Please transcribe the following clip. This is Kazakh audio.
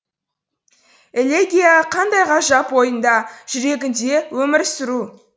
элегия қандай ғажап ойыңда жүрегіңде өмір сүру